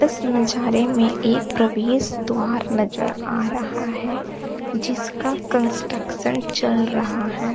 इस नज़ारे में एक प्रवेश द्वार नजर आ रहा है जिसका कंस्ट्रक्शन चल रहा है।